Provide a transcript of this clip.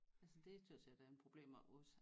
Altså det tør jeg sige det er en problem oppe ved os